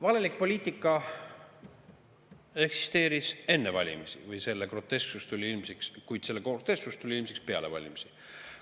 Valelik poliitika eksisteeris enne valimisi, kuid selle grotesksus tuli ilmsiks peale valimisi.